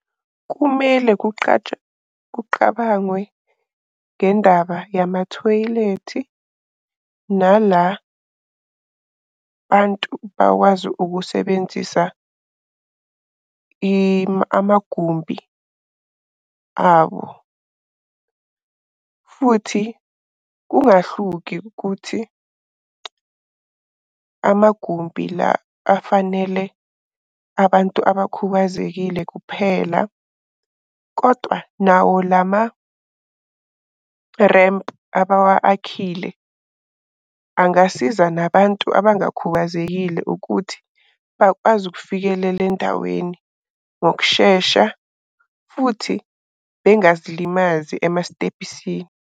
Kumele kuqatshwe kuqabangwe ngendaba yamathoyilethi nala bantu bakwazi ukusebenzisa amagumbi abo. Futhi kungahluki ukuthi amagumbi la afanele abantu abakhubazekile kuphela kodwa nawo lama lempu abawa-akhile angasiza nabantu abangakhubazekile ukuthi bakwazi ukufikelela endaweni ngokushesha futhi bengazilimazi emasitebhisini.